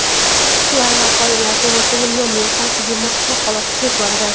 huquqlar va qoidalar to‘g‘risida nomli tanqidiy maqolasida so‘z boradi.